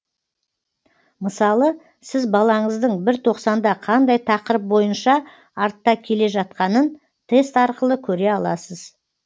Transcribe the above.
мысалы сіз балаңыздың бір тоқсанда қандай тақырып бойынша артта келе жатқанын тест арқылы көре аласыз